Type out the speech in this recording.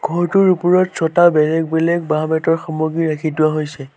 ঘৰটোৰ ওপৰত ছটা বেলেগ বেলেগ বাঁহ বেঁতৰ সামগ্ৰী ৰাখি থোৱা হৈছে।